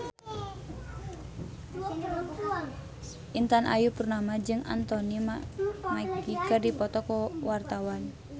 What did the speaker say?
Intan Ayu Purnama jeung Anthony Mackie keur dipoto ku wartawan